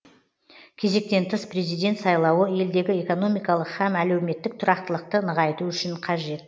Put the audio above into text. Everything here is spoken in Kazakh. кезектен тыс президент сайлауы елдегі экономикалық һәм әлеуметтік тұрақтылықты нығайту үшін қажет